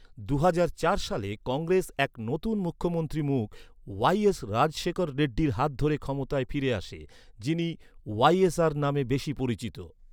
দুহাজার চার সালে কংগ্রেস এক নতুন মুখ্যমন্ত্রী মুখ, ওয়াই.এস রাজশেখর রেড্ডির হাত ধরে ক্ষমতায় ফিরে আসে, যিনি ওয়াই.এস.আর নামে বেশি পরিচিত।